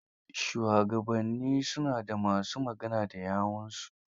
Shugabanni su na da ma su magana da yawunsu.